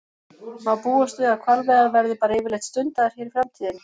Má búast við að hvalveiðar verði bara yfirleitt stundaðar hér í framtíðinni?